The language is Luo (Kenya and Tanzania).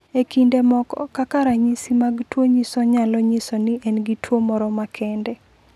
E kinde moko, kaka ranyisi mag tuo nyiso nyalo nyiso ni en gi tuwo moro makende.